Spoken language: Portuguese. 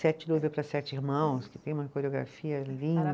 para Sete Irmãos, que tem uma coreografia